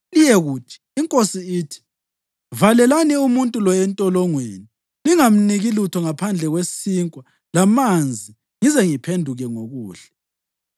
Liyekuthi, ‘Inkosi ithi: Valelani umuntu lo entolongweni lingamniki lutho ngaphandle kwesinkwa lamanzi ngize ngiphenduke ngokuhle.’ ”